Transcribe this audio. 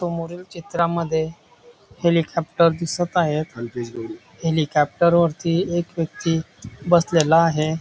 समोरील चित्रामध्ये हेलिकॉप्टर दिसत आहे हेलिकॉप्टर वरती एक व्यक्ती बसलेला आहे.